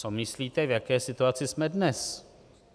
Co myslíte, v jaké situaci jsme dnes?